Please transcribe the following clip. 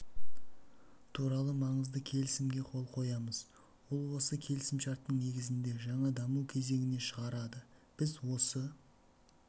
туралы маңызды келісімге қол қоямыз ол осы келісімшарттың негізінде жаңа даму кезеңіне шығарады біз осы